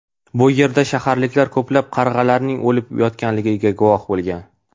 Bu yerda shaharliklar ko‘plab qarg‘alarning o‘lib yotganligining guvoh bo‘lgan.